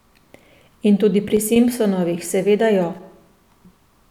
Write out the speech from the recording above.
In tudi pri Simpsonovih seveda jo.